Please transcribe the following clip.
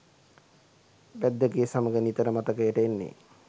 බැද්දගේ සමග නිතර මතකයට එන්නේ.